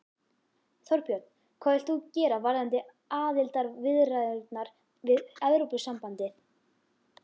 Þorbjörn: Hvað vilt þú gera varðandi aðildarviðræðurnar við Evrópusambandið?